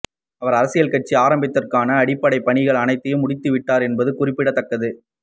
அவர் அரசியல் கட்சி ஆரம்பிப்பதற்கான அடிப்படை பணிகள் அனைத்தையும் முடித்து விட்டார் என்பதும் குறிப்பிடத்தக்கது